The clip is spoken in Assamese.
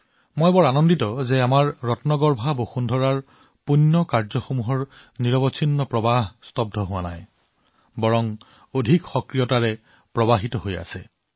মই সুখী যে আমাৰ বহুৰত্ন বসুন্ধৰাৰ গুণী কাৰ্য্যৰ অবিচলিত প্ৰবাহ অব্যাহত আছে